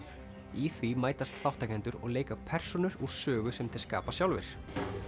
í því mætast þátttakendur og leika persónur úr sögu sem þeir skapa sjálfir